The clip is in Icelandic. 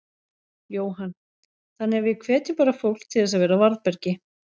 Jóhann: Þannig að við hvetjum bara fólk til þess að vera á varðbergi?